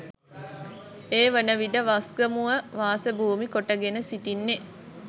ඒ වනවිට වස්ගමුව වාසභූමි කොටගෙන සිටින්නේ